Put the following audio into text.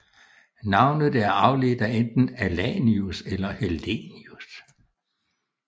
Navnet er afledt af enten Alanius eller Hellenius